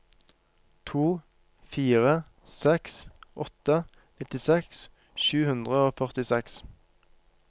to fire seks åtte nittiseks sju hundre og førtiseks